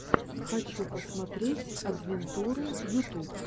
хочу посмотреть адвентуру ютуб